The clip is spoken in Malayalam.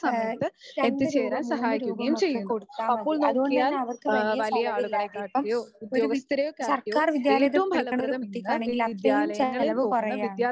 ആ രണ്ടുരൂപ മൂന്നു രൂപ ഒക്കെ കൊടുത്താൽ മതി അതുകൊണ്ടുതന്നെ അവർക്ക് വലിയ ചെലവില്ലാതെ ഇപ്പം ഒരു വി സർക്കാർ വിദ്യാലയത്തിൽ പഠിക്കണ ഒരു കുട്ടിക്കാണെങ്കിൽ ആ സെയിം ചെലവ് കുറയുവാണ്.